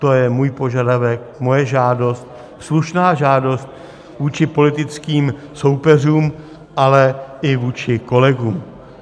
To je můj požadavek, moje žádost, slušná žádost vůči politickým soupeřům, ale i vůči kolegům.